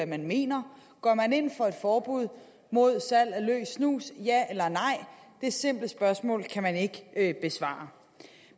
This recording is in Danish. man mener går man ind for et forbud mod salg af løs snus ja eller nej det simple spørgsmål kan man ikke ikke besvare